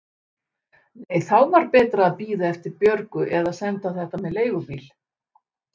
Nei, þá var betra að bíða eftir Björgu eða senda þetta með leigubíl.